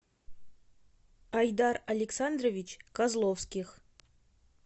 айдар александрович козловских